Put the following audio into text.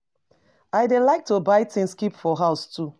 I dey like to buy things keep for house too